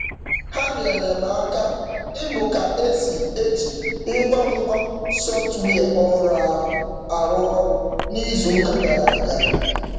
Ha nyeere m aka ịmụ ka e si eji ngwa ngwa sọftwịa ọhụrụ ahụ arụ ọrụ n'izuụka gara aga.